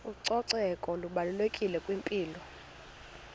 ucoceko lubalulekile kwimpilo